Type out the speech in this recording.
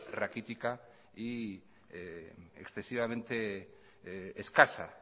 raquítica y excesivamente escasa